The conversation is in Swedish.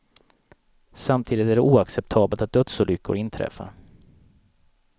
Samtidigt är det oacceptabelt att dödsolyckor inträffar.